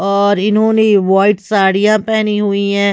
और इन्होने व्हाइट साड़िया पेहनी हुई है।